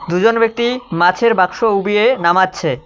দুজন ব্যক্তি মাছের বাক্স উবিয়ে নামাচ্ছে।